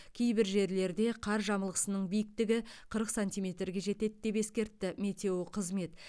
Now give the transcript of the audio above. кейбір жерлерде қар жамылғысының биіктігі қырық сантиметрге жетеді деп ескертті метеоқызмет